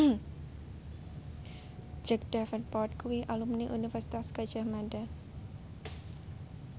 Jack Davenport kuwi alumni Universitas Gadjah Mada